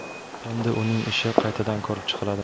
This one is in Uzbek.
Endi uning ishi qaytadan ko‘rib chiqiladi.